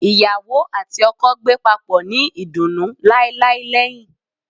Iyawo ati oko gbe papo ni idunnu lailai lẹhin